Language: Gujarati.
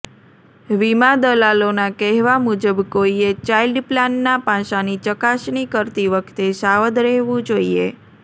વીમા દલાલોના કહેવા મુજબ કોઈએ ચાઇલ્ડ પ્લાનનાં પાસાંની ચકાસણી કરતી વખતે સાવધ રહેવું જોઈએ